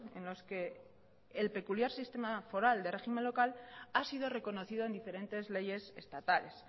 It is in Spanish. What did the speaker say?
en los que el peculiar sistema foral de régimen local ha sido reconocido en diferentes leyes estatales